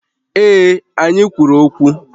Ee, anyị kwuru okwu